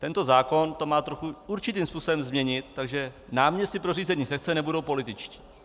Tento zákon to má trochu určitým způsobem změnit, takže náměstci pro řízení sekce nebudou političtí.